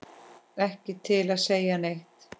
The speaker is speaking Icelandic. Ekki til að segja neitt.